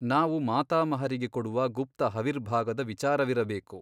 ನಾವು ಮಾತಾಮಹರಿಗೆ ಕೊಡುವ ಗುಪ್ತ ಹವಿರ್ಭಾಗದ ವಿಚಾರವಿರಬೇಕು.